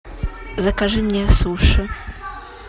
закажи мне суши